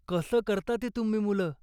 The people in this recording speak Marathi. कसं करता ते तुम्ही मुलं?